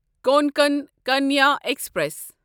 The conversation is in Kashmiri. کونکن کنیا ایکسپریس